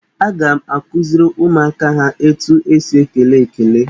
Aga m akụziri ụmụaka ha etu esi ekele ekele.